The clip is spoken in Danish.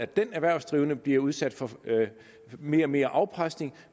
den erhvervsdrivende blive udsat for mere og mere afpresning